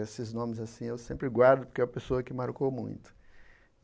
Esses nomes assim eu sempre guardo, porque a pessoa que marcou muito.